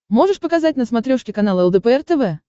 можешь показать на смотрешке канал лдпр тв